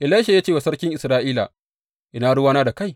Elisha ya ce wa sarkin Isra’ila, Ina ruwana da kai?